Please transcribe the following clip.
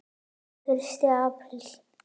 Þetta er fyrsti apríl.